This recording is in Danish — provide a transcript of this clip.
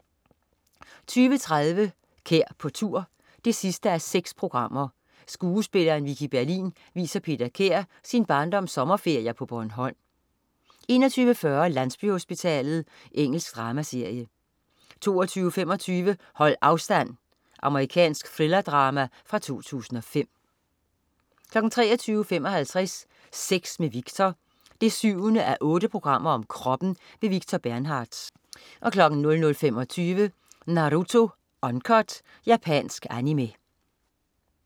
20.30 Kær på tur 6:6. Skuespilleren Vicki Berlin viser Peter Kær sin barndoms sommerferier på Bornholm 21.40 Landsbyhospitalet. Engelsk dramaserie 22.25 Hold afstand. Amerikansk thrillerdrama fra 2005 23.55 Sex med Victor 7:8. Kroppen. Victor Bernhardtz 00.25 Naruto Uncut. Japansk Animé